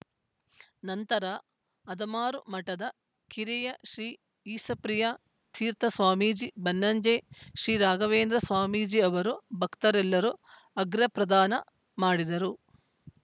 ನಂತರ ಅದಮಾರು ಮಠದ ಕಿರಿಯ ಶ್ರೀಈಶಪ್ರಿಯ ತೀರ್ಥ ಸ್ವಾಮೀಜಿ ಬನ್ನಂಜೆ ಶ್ರೀರಾಘವೇಂದ್ರ ಸ್ವಾಮೀಜಿ ಅವರೂ ಭಕ್ತರೆಲ್ಲರೂ ಅಘ್ರ ಪ್ರದಾನ ಮಾಡಿದರು